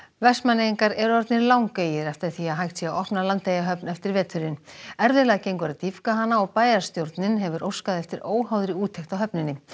Vestmannaeyingar eru orðnir langeygir eftir því að hægt sé að opna Landeyjahöfn eftir veturinn erfiðlega gengur að dýpka hana og bæjarstjórnin hefur óskað eftir óháðri úttekt á höfninni